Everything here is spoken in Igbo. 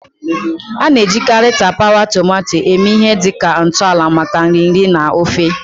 A na-ejikarị tapawa tomato eme ihe dị ka ntọala maka nri nri na ofe.